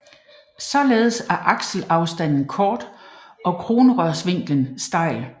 Således er akselafstanden kort og kronrørsvinklen stejl